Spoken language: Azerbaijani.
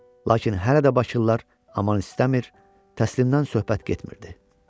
Lakin hələ də bakılılar aman istəmir, təslim olmaqdan söhbət getmirdi.